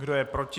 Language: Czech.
Kdo je proti?